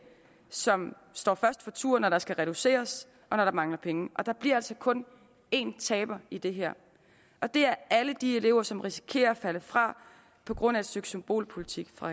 som står først for tur når der skal reduceres og når der mangler penge og der bliver altså kun en taber i det her og det er alle de elever som risikerer at falde fra på grund af et stykke symbolpolitik fra